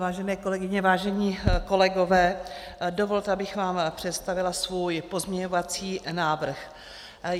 Vážené kolegyně, vážení kolegové, dovolte, abych vám představila svůj pozměňovací návrh.